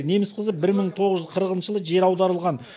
неміс қызы бір мың тоғыз жүз қырықыншы жылы жер аударылған